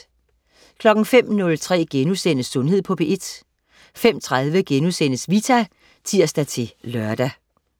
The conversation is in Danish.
05.03 Sundhed på P1* 05.30 Vita* (tirs-lør)